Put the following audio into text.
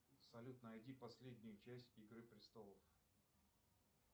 салют найди последнюю часть игры престолов